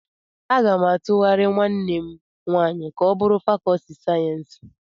Aga m atughari nwanne m nwanyị ka o bụrụ fàkọọtị sayensị.